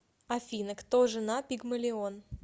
афина кто жена пигмалион